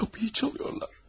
Qapıyı çalırlar!